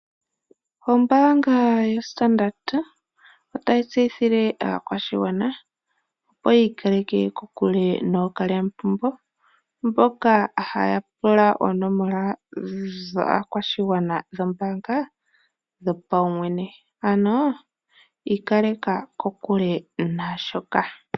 Ombaanga yoStandard otayi tseyithile aakwashigwana opo yiikaleke kokule nookalyamupombo, mboka haya pula oonomola dhaakwashigwana dhombaanga dhopawumwene, ano ikaleka kokule naashoka.